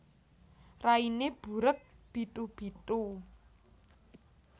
Rainé burék bithu bithu